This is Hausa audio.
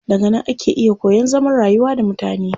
Daga nan ake iya koyan zaman rayuwa da mutane.